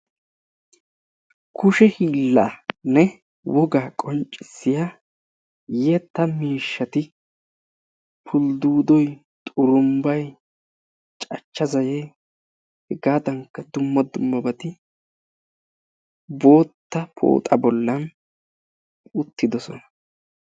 Kushe hiillanne wogaa qonccisya yetta mishati hulduudoy, xurumbay, cachcha zayee hegaadankka dumma dummabati bootta pooxa bollan uttidosona.